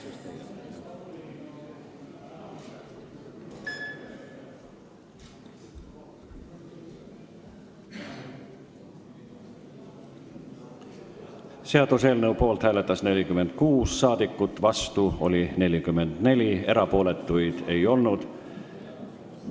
Hääletustulemused Poolt hääletas 46 rahvasaadikut, vastu oli 44, erapooletuks ei jäänud keegi.